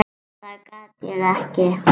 Það get ég ekki